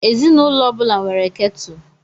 Ezinụlọ ọ bụla nwere kettle.